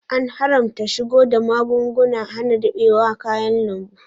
An haramta shigo da magugnan hana rubewar kayan lambu.